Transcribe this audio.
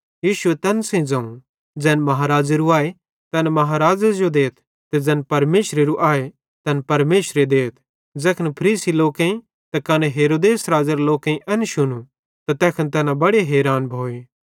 यीशुए तैन सेइं ज़ोवं ज़ैन महाराज़ेरू आए तैन बड्डे राज़े देथ ते ज़ैन परमेशरेरू आए तैन परमेशरे देथ ज़ैखन फरीसी लोकेईं ते कने हेरोदेस राज़ेरे लोकेईं एन शुनू त तैखन तैना बड़े हैरान भोए